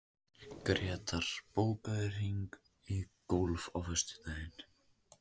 Grétar, bókaðu hring í golf á föstudaginn.